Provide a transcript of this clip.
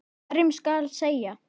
Hverjum skal selja?